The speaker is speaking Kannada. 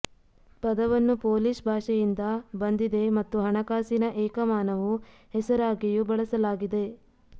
ಪದವನ್ನು ಪೋಲಿಷ್ ಭಾಷೆಯಿಂದ ಬಂದಿದೆ ಮತ್ತು ಹಣಕಾಸಿನ ಏಕಮಾನವು ಹೆಸರಾಗಿಯೂ ಬಳಸಲಾಗಿದೆ